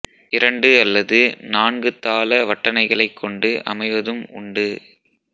இரண்டு அல்லது நான்கு தாள வட்டணைகளைக் கொண்டு அமைவதும் உண்டு